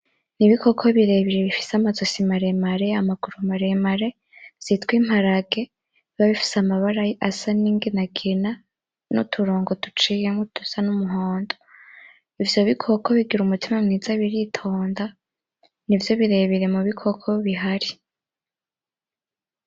N'ibikoko birebire bifise amazosi maremare, amaguru maremare vyitwa imparage biba bifise amabara asa n'inginangina n'uturongo duciyemwo dusa n'umuhondo, ivyo bikoko bigira umutima mwiza biritonda nivyo birebire mu bikoko bihari.